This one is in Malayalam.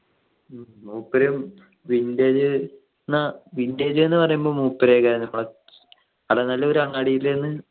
മൂപര് vintage ന്നു vintage നു പറയുമ്പോ മൂപരെയൊക്കെയാണ് first നല്ലൊരു അങ്ങാടിൽ നിന്ന്